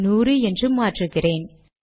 நூறு என்று மாற்றுகிறேன்